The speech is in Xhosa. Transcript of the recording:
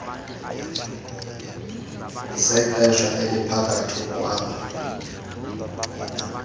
zexesha eliphakathi ukwaba